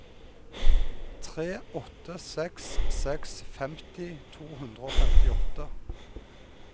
tre åtte seks seks femti to hundre og femtiåtte